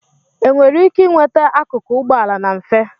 enwere ike nweta akụkụ ụgbọala na mfe